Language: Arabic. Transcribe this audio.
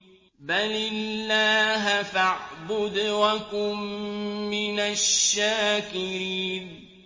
بَلِ اللَّهَ فَاعْبُدْ وَكُن مِّنَ الشَّاكِرِينَ